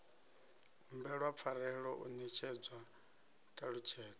humbelwa pfarelo u netshedzwa ṱhalutshedzo